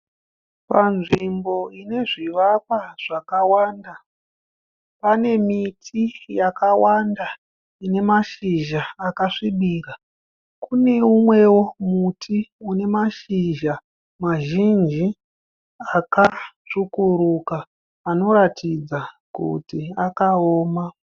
Panzvimbo ine zvivakawa zvakanda pane miti yakawanda ine mashizha akasvibira. Kune umwewo muti une mashizha mazhinji akatsvukuruka anoratidza kuti akaoma.